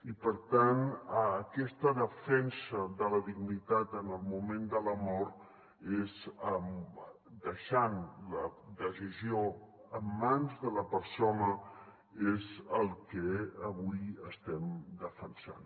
i per tant aquesta defensa de la dignitat en el moment de la mort deixant la decisió en mans de la persona és el que avui estem defensant